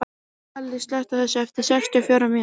Salli, slökktu á þessu eftir sextíu og fjórar mínútur.